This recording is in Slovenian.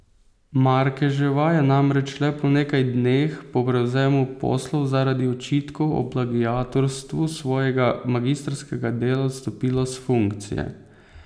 Markeževa je namreč le po nekaj dneh po prevzemu poslov zaradi očitkov o plagiatorstvu svojega magistrskega dela odstopila s funkcije.